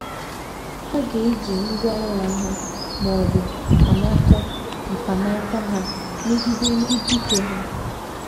Ha ga - eji ngwá agha ha, ma ọ bụ “ mkpanaka mkpanaka ” ha megide ndị dike ha.